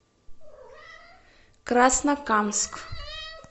краснокамск